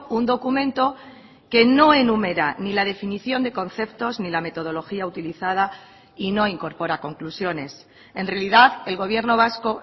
un documento que no enumera ni la definición de conceptos ni la metodología utilizada y no incorpora conclusiones en realidad el gobierno vasco